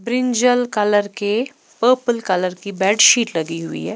Brinjal colour के purple colour की bedsheet लगी हुई है।